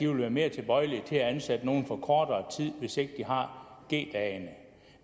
vil være mere tilbøjelige til at ansætte nogle for kortere tid hvis de ikke har g dagene